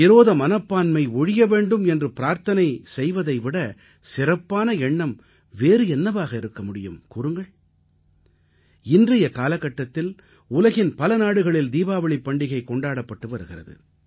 விரோத மனப்பான்மை ஒழிய வேண்டும் என்று பிரார்த்தனை செய்வதைவிட சிறப்பான எண்ணம் வேறு என்னவாக இருக்க முடியும் கூறுங்கள் இன்றைய காலகட்டத்தில் உலகின் பல நாடுகளில் தீபாவளிப் பண்டிகை கொண்டாடப்பட்டு வருகிறது